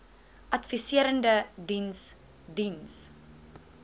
adviserende diens diens